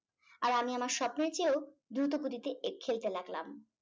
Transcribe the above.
আর আমি আমার স্বপ্নের চেয়েও দ্রুত গতিতে খেলতে লাগলাম।